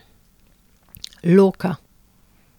Loka.